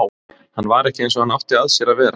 Hann var ekki eins og hann átti að sér að vera.